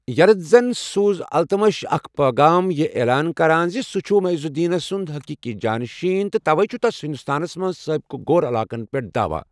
یلدزَن سوُز التمشَس اکھ پٲغام ، یہِ عیلان كران زِ سوُٗ چھٗ معیز الدینُن سٗند حٔقیٖقی جانشین تہٕ توَے چھُ تس ہندوستانَس منٛز سٲبِق غور علاقَن پٮ۪ٹھ دعوا ۔